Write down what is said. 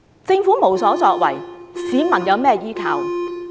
政府無所作為，市民有甚麼依靠？